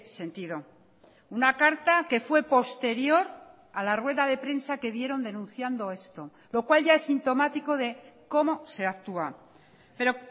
sentido una carta que fue posterior a la rueda de prensa que dieron denunciando esto lo cual ya es sintomático de cómo se actúa pero